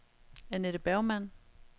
Annette Bergmann